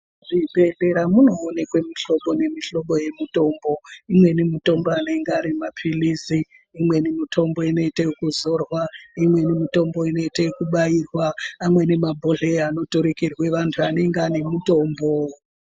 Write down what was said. Muzvibhedhlera munoonekwe muhlobo nemihlobo yemutombo imweni mutombo anenge arima pilizi imweni mutombo inoita ekuzorwa, imweni mutombo inoita eku bairwa amweni ma bhodhleya anoturikirwa vantu anenge anemutombo.